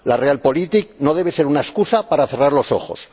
La Realpolitik no debe ser una excusa para cerrar los ojos